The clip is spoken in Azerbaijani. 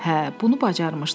Hə, bunu bacarmışdı.